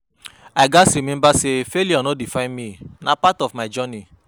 I gats remember say failure no define me; na part of my journey.